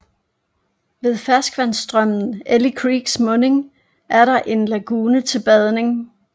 Ved ferskvandsstrømmen Eli Creeks munding er der en lagune til badning